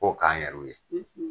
K'o k'an yɛru ye